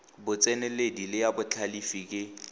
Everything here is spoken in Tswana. botseneledi le ya botlhalefi ke